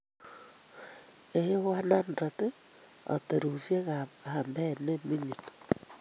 A100 aterusyek ak aambeet ne ming'in.